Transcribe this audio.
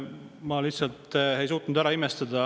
Ma lihtsalt ei suutnud seda ära imestada.